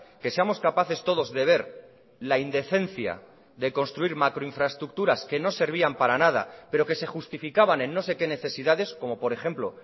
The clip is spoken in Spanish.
que seamos capaces todos de ver la indecencia de construir macro infraestructuras que no servían para nada pero que se justificaban en no sé qué necesidades como por ejemplo